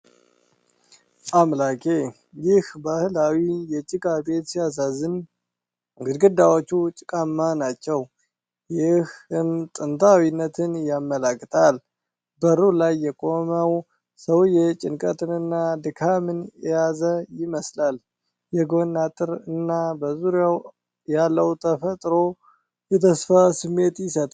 አምላኬ! ይህ ባህላዊ የጭቃ ቤት ሲያሳዝን! ግድግዳዎቹ ጭቃማ ናቸው፣ ይህም ጥንታዊነትን ያመለክታል። በሩ ላይ የቆመው ሰውዬ ጭንቀትንና ድካምን የያዘ ይመስላል። የጎን አጥር እና በዙሪያው ያለው ተፈጥሮ የተስፋ ስሜት ይሰጣል።